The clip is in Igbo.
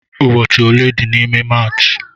Ụbọchị ole dị n'ime Maachị?